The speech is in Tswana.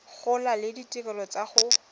gola le ditirelo tsa go